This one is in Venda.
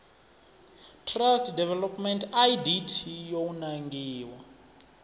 trust development idt yo nangiwa